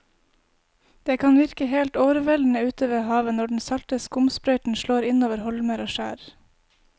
Det kan virke helt overveldende ute ved havet når den salte skumsprøyten slår innover holmer og skjær.